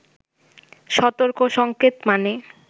সতর্ক সঙ্কেত মানে